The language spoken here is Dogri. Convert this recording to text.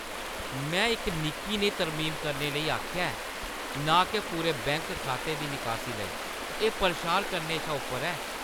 में इक निक्की नेही तरमीम करने लेई आखेआ ऐ, ना के पूरे बैंक खाते दी निकासी लेई! एह् परेशान करने शा उप्पर ऐ।